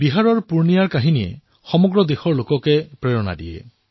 বিহাৰৰ পুৰ্ণিয়াৰ কাহিনীয়ে দেশৰ জনতাক অনুপ্ৰেৰিত কৰি তুলিব